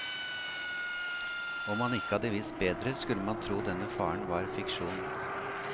Om man ikke hadde visst bedre, skulle man tro denne faren var fiksjon.